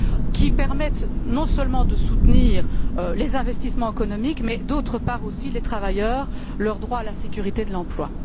qui permette, non seulement de soutenir les investissements économiques mais aussi les travailleurs et leur droit à la sécurité de l'emploi.